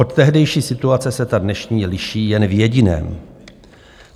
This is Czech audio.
Od tehdejší situace se ta dnešní liší jen v jediném.